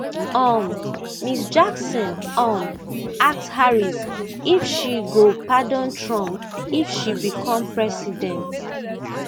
um ms jackson um ask harris if she go pardon trump if she become president